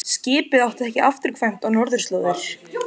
Skipið átti ekki afturkvæmt á norðurslóðir.